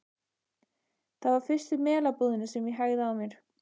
Það var fyrst við Melabúðina sem ég hægði á mér.